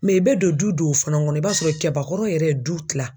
i bɛ don du dow fana ŋɔnɔ i b'a sɔrɔ kɛbakɔrɔ yɛrɛ ye du tila.